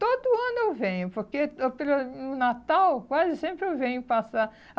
Todo ano eu venho, porque no Natal quase sempre eu venho passar.